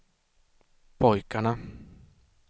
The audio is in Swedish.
pojkarna